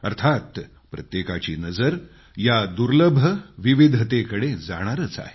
अर्थात प्रत्येकाची नजर या दुर्लभ विविधतेकडं जाणारच आहे